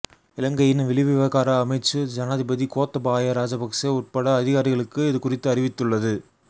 இலங்கையின் வெளிவிவகார அமைச்சு ஜனாதிபதி கோத்தபாய ராஜபக்ச உட்பட அதிகாரிகளிற்கு இது குறித்து அறிவித்துள்ளது